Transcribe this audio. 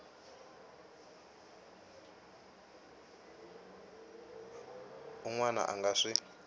un wana a nga swi